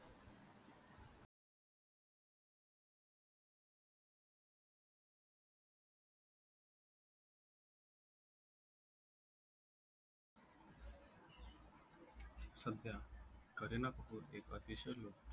सध्या करीना कपूर एक अतिशय लोकप्रिय